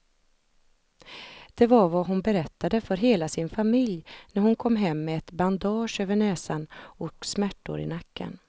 De kommer därför att ha ännu svårare att anpassa sig till en ökad internationalisering och ett samhälle med ökad multikultur.